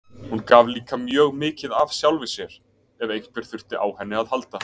Hún gaf líka mjög mikið af sjálfri sér, ef einhver þurfti á henni að halda.